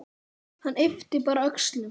Hann yppti bara öxlum.